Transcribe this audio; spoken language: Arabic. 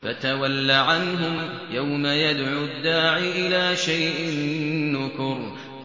فَتَوَلَّ عَنْهُمْ ۘ يَوْمَ يَدْعُ الدَّاعِ إِلَىٰ شَيْءٍ نُّكُرٍ